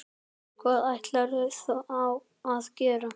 Hvað ætlarðu þá að gera?